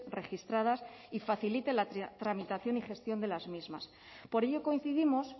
registradas y facilite la tramitación y gestión de las mismas por ello coincidimos